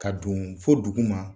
Ka don fo duguma.